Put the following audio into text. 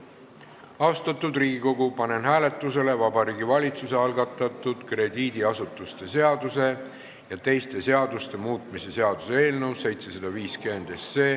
Austatud Riigikogu, panen hääletusele Vabariigi Valitsuse algatatud krediidiasutuste seaduse ja teiste seaduste muutmise seaduse eelnõu 750.